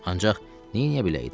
Ancaq neyniyə bilərdim?